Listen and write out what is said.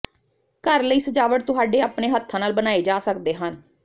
ਘਰ ਲਈ ਸਜਾਵਟ ਤੁਹਾਡੇ ਆਪਣੇ ਹੱਥਾਂ ਨਾਲ ਬਣਾਏ ਜਾ ਸਕਦੇ ਹਨ